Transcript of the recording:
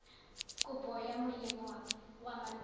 kopo ya molemo wa malwetse